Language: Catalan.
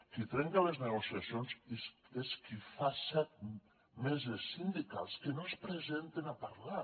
qui trenca les negociacions és qui fa set meses sindicals que no es presenten a parlar